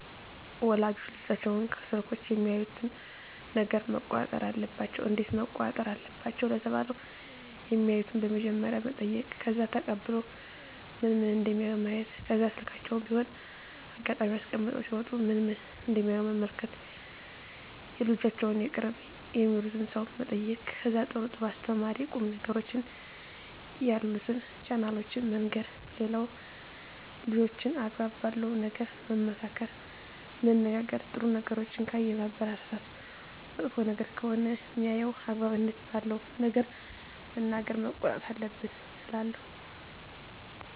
ወላጆች ልጆቻቸውን ከስልኮች የሚያዩትን ነገረ መቆጣጠር አለባቸው እንዴት መቆጣጠር አለባቸው ለተባለው የማዩትን በመጀመሪያ መጠይቅ ከዛ ተቀብሎ ምን ምን እደሚያዩ ማየት ከዛ ስልካቸውን በሆነ አጋጣሚ አስቀምጠው ሲወጡ ምን ምን እደሚያዩ መመልከት የልጆቻቸውን የቅርብ የሚሉትን ሰው መጠየቅ ከዛ ጥሩ ጥሩ አስተማሪ ቁም ነገሮችን ያሉትን ቻናሎችን መንገር ሌላው ልጆችን አግባብ ባለው ነገር መመካከር መነጋገር ጥሩ ነገሮችን ካየ ማበረታታት መጥፎ ነገር ከሆነ ሜያየው አግባብነት ባለው ነገር መናገር መቆጣት አለብን እላለው